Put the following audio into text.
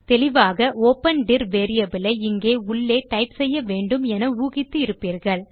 தெளிவாக open dir variable ஐ இங்கே உள்ளே டைப் செய்ய வேண்டும் என ஊகித்து இருப்பீர்கள்